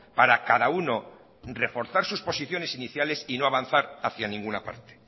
para cada unoreforzar sus posiciones iniciales y no avanzar hacia ninguna parte